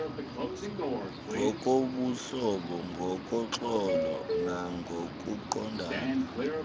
ngokobuhlobo ngoxolo nangokuqondana